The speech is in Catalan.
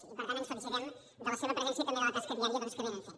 i per tant ens felicitem de la seva presència i també de la tasca diària doncs que fan